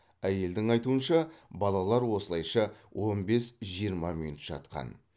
әйелдің айтуынша балалар осылайша он бес жиырма минут жатқан